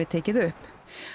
tekið upp